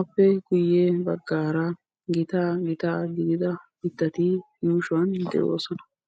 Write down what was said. Appe guyye baggaara gitaa gitaa gidida mittati yuushuwan de'oosona.